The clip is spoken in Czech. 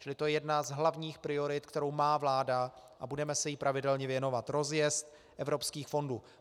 Čili to je jedna z hlavních priorit, kterou má vláda, a budeme se jí pravidelně věnovat - rozjezd evropských fondů.